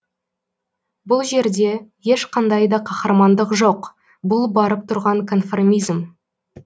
бұл жерде ешқандай да қаһармандық жоқ бұл барып тұрған конформизм